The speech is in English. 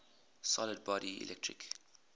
solid body electric